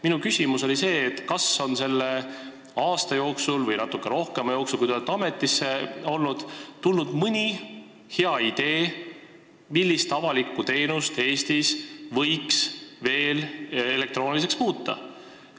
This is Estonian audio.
Minu küsimus oli see, kas selle aasta või natuke pikema aja jooksul, kui te olete ametis olnud, on tulnud mõni hea idee, millist avalikku teenust võiks Eestis veel elektrooniliseks muuta.